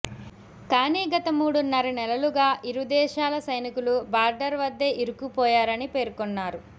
కానీ గత మూడున్నర నెలలుగా ఇరు దేశాల సైనికులు బార్డర్ వద్దే ఇరుక్కుపోయారని పేర్కొన్నారు